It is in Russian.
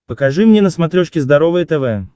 покажи мне на смотрешке здоровое тв